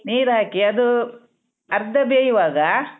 ನೀರ್ ಹಾಕಿ ಅದು ಅರ್ಧ ಬೇಯುವಾಗ.